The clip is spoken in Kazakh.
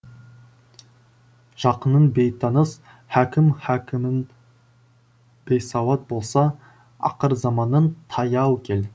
жақының бейтаныс хакімің бейсауат болса ақырзаманның таяу кел